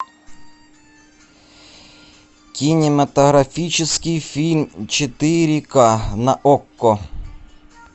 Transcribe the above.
кинематографический фильм четыре ка на окко